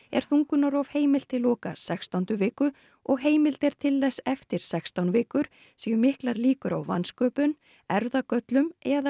er þungunarrof heimilt til loka sextándu viku og heimild er til þess eftir sextán vikur séu miklar líkur á vansköpun erfðagöllum eða